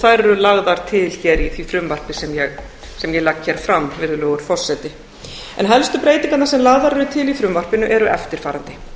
þær eru lagðar til í því frumvarpi sem ég legg hér fram helstu breytingarnar sem lagðar eru til í frumvarpinu eru eftirfarandi